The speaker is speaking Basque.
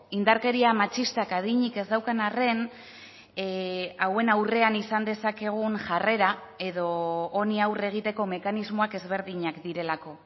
indarkeria matxistak adinik ez daukan arren hauen aurrean izan dezakegun jarrera edo honi aurre egiteko mekanismoak ezberdinak direlako